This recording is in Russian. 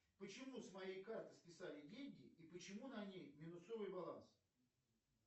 почему с моей карты списали деньги и почему на ней минусовый баланс